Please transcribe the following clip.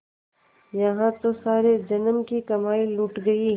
यहाँ तो सारे जन्म की कमाई लुट गयी